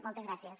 moltes gràcies